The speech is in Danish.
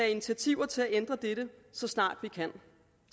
initiativer til at ændre det så snart vi kan